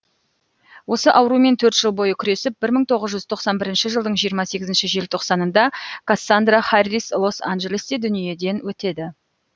осы аурумен төрт жыл бойы күресіп бір мың тоғыз жүз тоқсан бірінші жылдың жиырма сегізінші желтоқсанында кассандра харрис лос анжелесте дүниеден өтеді